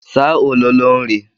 Saa ololo nri.